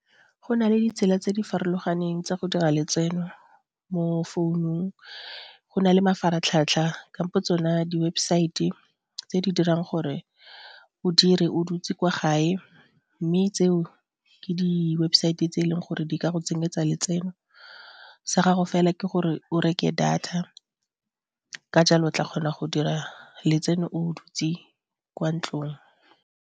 Go nale ditsela tse di farologaneng tsa go dira letseno mo founung, go na le mafaratlhatlha kampo tsone di-website tse di dirang gore o dire o dutse kwa gae mme tseo ke di-website tse eleng gore di ka go tsenyetsa letseno sa gago fela ke gore o reke data ka jalo o tla kgona go dira letseno o dutse kwa ntlong.